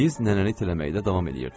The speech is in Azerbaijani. Biz nənəni itələməkdə davam eləyirdik.